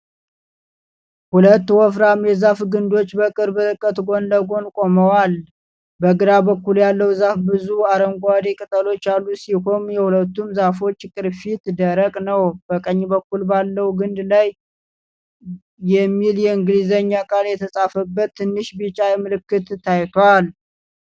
ሁለት ወፍራም የዛፍ ግንዶች በቅርብ ርቀት ጎን ለጎን ቆመዋል። በግራ በኩል ያለው ዛፍ ብዙ አረንጓዴ ቅጠሎች ያሉት ሲሆን የሁለቱም ዛፎች ቅርፊት ደረቅ ነው። በቀኝ በኩል ባለው ግንድ ላይ ' የሚል የእንግሊዝኛ ቃል የተጻፈበት ትንሽ ቢጫ ምልክት ታይቷል።